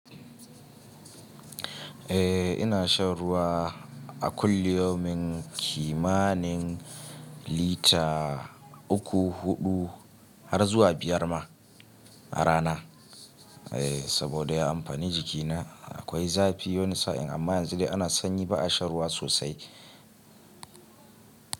Eh ina shan ruwa a kulli yaumin kimanin lita uku, huɗu har zuwa biyar ma a rana. Eh saboda ya amfani jikina akwai zafi wani sa'in amma yanzu dai ana sanyi ba a sha ruwa sosai.